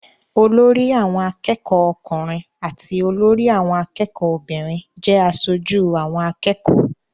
Olórí àwọn akẹ́kọ̀ọ́ ọkùnrin àti olórí àwọn akẹ́kọ̀ọ́ obìnrin jẹ́ aṣojú àwọn akẹ́kọ̀ọ́.